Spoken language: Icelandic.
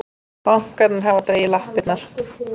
Bankarnir hafa dregið lappirnar